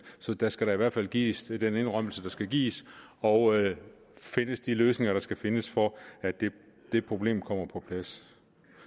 så der skal i hvert fald gives den indrømmelse der skal gives og findes de løsninger der skal findes for at det problem kommer på plads